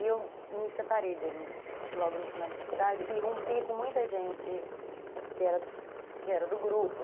E eu me separei dele logo no final da faculdade e rompi com muita gente que era que era do grupo.